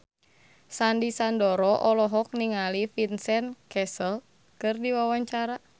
Sandy Sandoro olohok ningali Vincent Cassel keur diwawancara